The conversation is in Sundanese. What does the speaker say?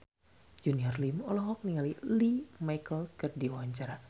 Junior Liem olohok ningali Lea Michele keur diwawancara